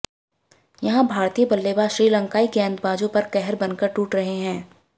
यहां भारतीय बल्लेबाज श्रीलंकाई गेंदबाजों पर कहर बनकर टूट रहे हैं